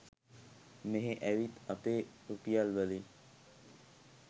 මෙහෙ ඇවිත් අපේ රුපියල් වලින්